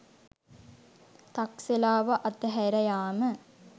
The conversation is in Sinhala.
තක්සලාව අතහැරයාම